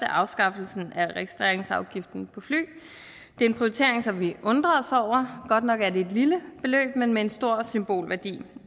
afskaffelsen af registreringsafgiften på fly det er en prioritering som vi undrer os over godt nok er det et lille beløb men med en stor symbolværdi